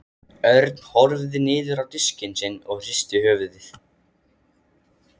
Örn horfði niður á diskinn sinn og hristi höfuðið.